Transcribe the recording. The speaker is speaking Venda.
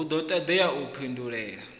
hu do todea u pindulela